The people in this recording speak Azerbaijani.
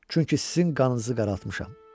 Çünki sizin qanınızı qaraltmışam.